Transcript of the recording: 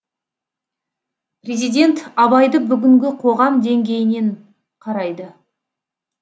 президент абайды бүгінгі қоғам деңгейінен қарайды